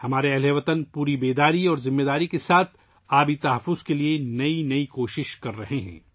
ہمارے ہم وطن پوری بیداری اور ذمہ داری کے ساتھ 'پانی کے تحفظ' کے لیے نئی کوششیں کر رہے ہیں